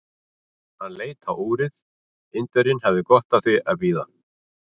Hann leit á úrið: Indverjinn hafði gott af því að bíða.